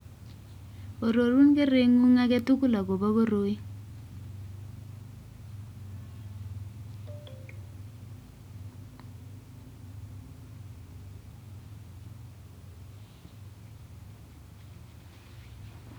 Ororun kereng'ung age tugul akobo koroi